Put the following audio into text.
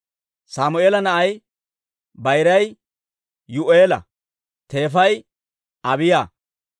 Sammeela na'ay bayiray Yuu'eela; teefay Abiiya.